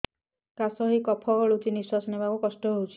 କାଶ ହେଇ କଫ ଗଳୁଛି ନିଶ୍ୱାସ ନେବାକୁ କଷ୍ଟ ହଉଛି